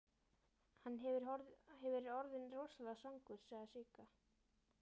Hann hefur verið orðinn rosalega svangur, sagði Sigga.